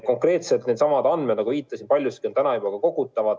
Konkreetselt needsamad andmed, nagu viitasin, on paljuski juba praegu kogutavad.